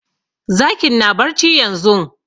Zakin na barci yanzun